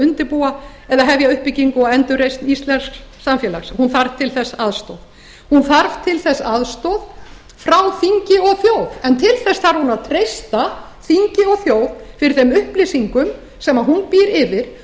undirbúa eða hefja uppbyggingu og endurreisn íslensks samfélags hún þarf til þess aðstoð hún þarf til þess aðstoð frá þingi og þjóð en til þess þarf hún að treysta þingi og þjóð fyrir þeim upplýsingum sem hún býr yfir og